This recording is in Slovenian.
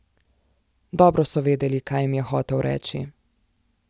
Dobro so vedeli, kaj jim je hotel reči.